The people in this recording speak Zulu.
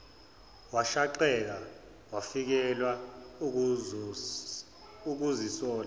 washaqeka wafikelwa ukuzisola